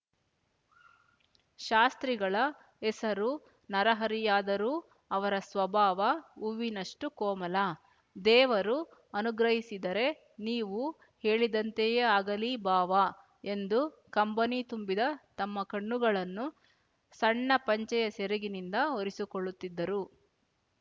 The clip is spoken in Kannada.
ಶಾಸ್ತ್ರಿಗಳ ಹೆಸರು ನರಹರಿಯಾದರೂ ಅವರ ಸ್ವಭಾವ ಹೂವಿನಷ್ಟು ಕೋಮಲ ದೇವರು ಅನುಗ್ರಹಿಸಿದರೆ ನೀವು ಹೇಳಿದಂತೆಯೇ ಆಗಲಿ ಭಾವ ಎಂದು ಕಂಬನಿ ತುಂಬಿದ ತಮ್ಮ ಕಣ್ಣುಗಳನ್ನು ಸಣ್ಣ ಪಂಚೆಯ ಸೆರಗಿನಿಂದ ಒರೆಸಿಕೊಳ್ಳುತ್ತಿದ್ದರು